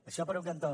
això per un cantó